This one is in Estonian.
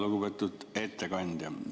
Lugupeetud ettekandja!